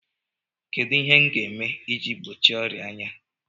Kedụ ihe m ga-eme iji gbochie ọrịa anya?